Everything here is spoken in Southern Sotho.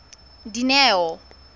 dineo